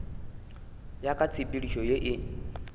ya ka tshepedišo ye e